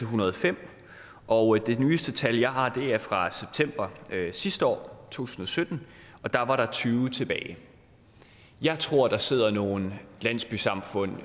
hundrede og fem og det nyeste tal jeg har er fra september sidste år to tusind og sytten og der var der tyve tilbage jeg tror der sidder nogle landsbysamfund